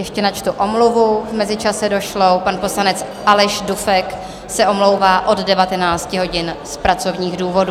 Ještě načtu omluvu v mezičase došlou: pan poslanec Aleš Dufek se omlouvá od 19 hodin z pracovních důvodů.